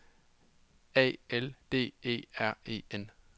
A L D E R E N